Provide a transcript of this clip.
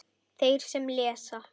Þeir sem lesa